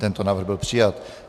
Tento návrh byl přijat.